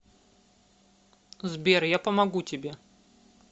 сбер я помогу тебе